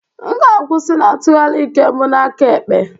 M ga-akwusi na ntụgharị nke mbụ n'aka ekpe.